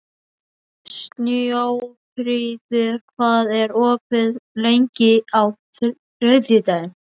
Snjófríður, hvað er opið lengi á þriðjudaginn?